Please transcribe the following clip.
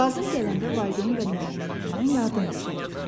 Lazım gələndə valideyn və müəllimlərindən yardım istə.